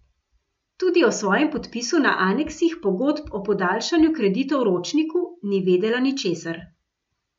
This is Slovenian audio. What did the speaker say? Tudi o svojem podpisu na aneksih pogodb o podaljšanju kreditov Ročniku ni vedela ničesar.